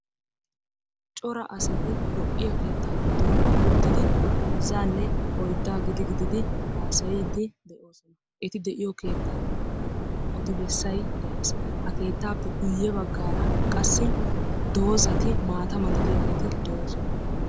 Cora asati lo''iya keettaa giddon uttidi heezzaanne oyddaa gidi gididi haasayiiddi de'oosona. Eti de'iyo keettan bollan odi bessay de'ees. Ha keettaappe guyye baggaara qassi dozati, maata malatiyaageeti de'oosona.